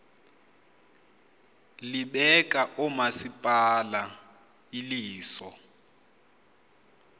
libeka oomasipala iliso